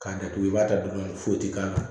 K'a datugu i b'a ta duman foyi tɛ k'a la